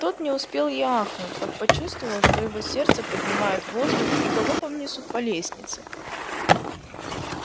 тот не успел и ахнуть как почувствовал что его сердце поднимают в воздух и галопом несут по лестнице